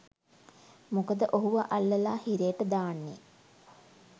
මොකද ඔහුව අල්ලලා හිරේට දාන්නේ